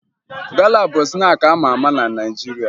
Gala bụ snaakị a ma ama na Naịjirịa